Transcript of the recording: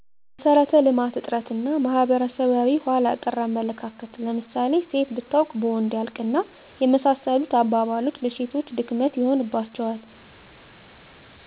መሰረተ ልማት እጥረት እና ማህበረሰባዊ ሆላ ቀር አመለካከት ለምሳሌ ሴት ብታውቅ በወንድ ያልቅ እና የመሳሰሉት አባባልች ለሴቶች ድክመት ይሆንባቸዋል